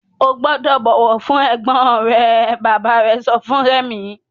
O gbúdọ̀ bọ̀wọ̀ fún ẹ̀gbọ́n rẹ! Bàbá sọ fún Rẹ̀mí.